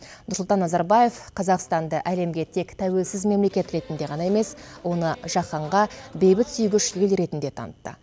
нұрсұлтан назарбаев қазақстанды әлемге тек тәуелсіз мемлекет ретінде ғана емес оны жаһанға бейбітсүйгіш ел ретінде танытты